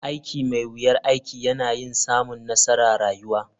Aiki mai wuyar aiki yana yin samun nassara rayuwa.